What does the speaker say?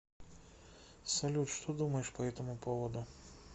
салют что думаешь по этому поводу